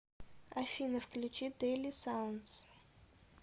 афина включи дэйли саундз